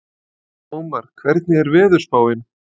Ómar, hvernig er veðurspáin?